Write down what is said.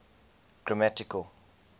grammatical